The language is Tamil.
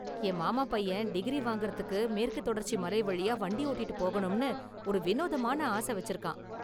என் மாமா பையன் டிகிரி வாங்குறதுக்கு மேற்குத் தொடர்ச்சி மலை வழியா வண்டி ஓட்டிட்டு போணும்னு ஒரு வினோதமான ஆசை வச்சிருக்கான்.